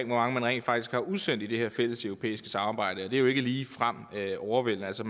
mange man rent faktisk har udsendt i det her fælleseuropæiske samarbejde og det er ikke ligefrem overvældende altså